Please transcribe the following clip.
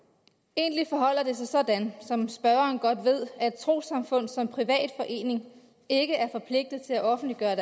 egentlig forholder det sig sådan som spørgeren godt ved at et trossamfund som privat forening ikke er forpligtet til at offentliggøre